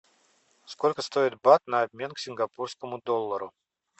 сколько стоит бат на обмен к сингапурскому доллару